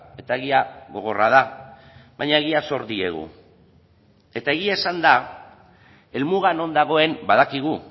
eta egia gogorra da baina egia zor diegu eta egia esanda helmuga non dagoen badakigu